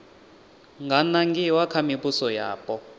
nga nangiwa kha mivhuso yapo